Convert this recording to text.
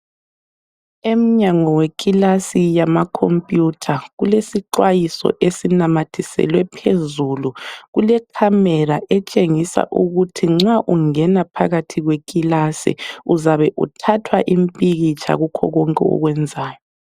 Emnyango wekilasi yamakhompiyutha kulesixwayiso esinamathiselwe phezulu. Kuke camera betshengisa ukuthi nxa ungena phakathi kwekilasi, uzabe uthathwa impikitsha kukho konke okwenzayo.